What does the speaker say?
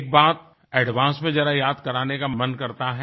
एक बात एडवांस में जरा याद कराने का मन करता है